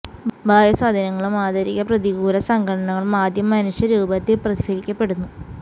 ബാഹ്യ സ്വാധീനങ്ങളും ആന്തരിക പ്രതികൂല ഘടകങ്ങളും ആദ്യം മനുഷ്യ രൂപത്തിൽ പ്രതിഫലിപ്പിക്കപ്പെടുന്നു